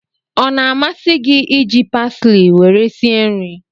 Ọ na-amasị gị iji pasili were sie nri?